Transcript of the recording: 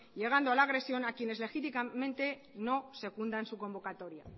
llegando a la agresión a quienes legítimamente no secundan su convocatoria